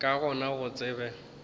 ka gona go se tsebe